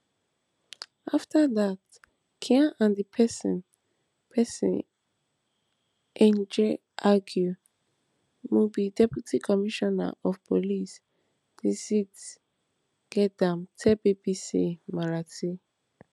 after dat khan and di pesin pesin egin argue mumbai deputy commissioner of police dixit gedam tell bbc marathi